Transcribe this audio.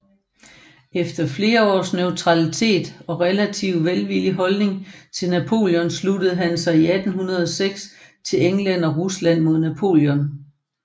Efter flere års neutralitet og relativt velvillig holdning til Napoleon sluttede han sig 1806 til England og Rusland mod Napoleon